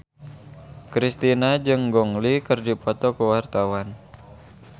Kristina jeung Gong Li keur dipoto ku wartawan